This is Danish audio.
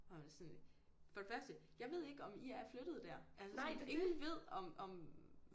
Hvor jeg var sådan for det første jeg ved ikke om i er flyttet der altså sådan ingen ved om om